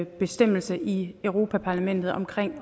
bestemmelse i europa parlamentet om